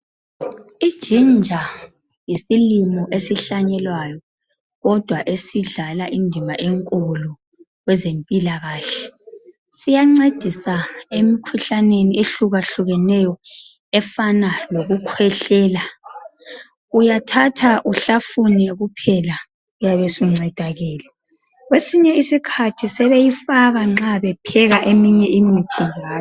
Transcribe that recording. Ijinja yisilimo esihlanyelwayo kodwa esidlala indima enkulu kwezempilakahle . Siyancedisa emikhuhlaneni ehlukahlukeneyo efana lokukhwehlela. Uyathatha uhlafune kuphela uyabe usuncedakele, kwesinye isikhathi sebeyifaka nxa bepheka eminye imithi njalo.